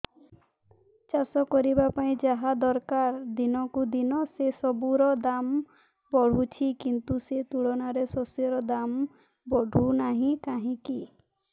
ଚାଷ କରିବା ପାଇଁ ଯାହା ଦରକାର ଦିନକୁ ଦିନ ସେସବୁ ର ଦାମ୍ ବଢୁଛି କିନ୍ତୁ ସେ ତୁଳନାରେ ଶସ୍ୟର ଦାମ୍ ବଢୁନାହିଁ କାହିଁକି